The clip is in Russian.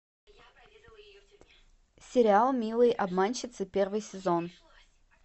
сериал милые обманщицы первый сезон